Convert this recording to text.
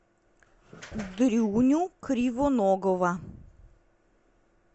дрюню кривоногова